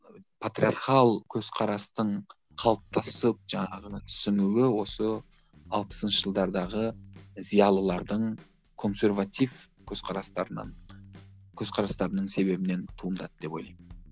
ы патриархал көзқарастың қалыптасып жаңағы түсінуі осы алпысыншы жылдардағы зиялылардың консерватив көзқарастарынан көзқарастарының себебінен туындады деп ойлаймын